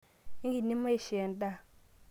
ekindim eishoo endaa?